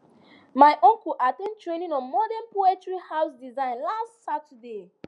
my uncle at ten d training on modern poultry house design last saturday